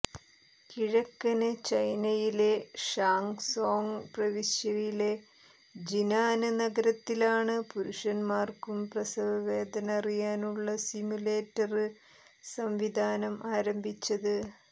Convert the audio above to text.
കിഴക്കന് ചൈനയിലെ ഷാങ്സോംഗ് പ്രവിശ്യയിലെ ജിനാന് നഗരത്തിലാണ് പുരുഷന്മാര്ക്കും പ്രസവവേദന അറിയാനുള്ള സിമുലേറ്റര് സംവിധാനം ആരംഭിച്ചത്